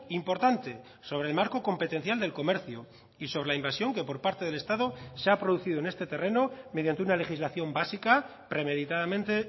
importante sobre el marco competencial del comercio y sobre la invasión que por parte del estado se ha producido en este terreno mediante una legislación básica premeditadamente